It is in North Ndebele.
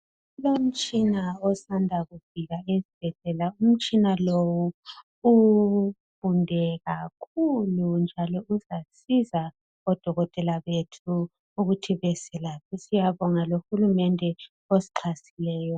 kulomtshina osanda kufika esibhedlela umtshina lowu ufunde kakhulu njalo uzasiza o dokotela bethu ukuthi beselaphe siyabonga lo hulumende osixhasileyo